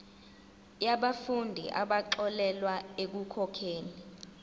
yabafundi abaxolelwa ekukhokheni